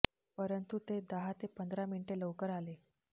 परंतु ते दहा ते पंधरा मिनिटे लवकर आले